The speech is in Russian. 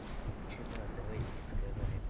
включи мне на тв дискавери